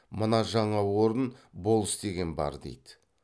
мына жаңа орын болыс деген бар дейді